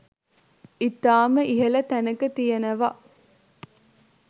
ඉතාමත් ඉහල තැනක තියෙනවා.